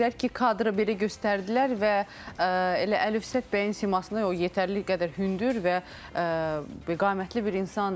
Amma nə gözəl ki, kadra belə göstərdilər və elə Əlifşət bəyin simasına o yetərli qədər hündür və qamətli bir insandır.